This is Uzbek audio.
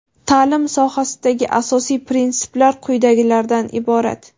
Ta’lim sohasidagi asosiy prinsiplar quyidagilardan iborat:.